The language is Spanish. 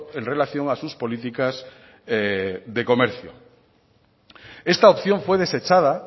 en relación a sus políticas de comercio esta opción fue desechada